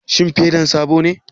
Shin fedan sabo ne?